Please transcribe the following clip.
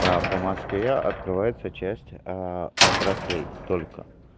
по москве открывается части отраслей только